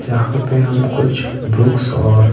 जहाँ पे हम कुछ बुक्स और--